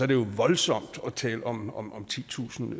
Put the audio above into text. det jo voldsomt at tale om om titusind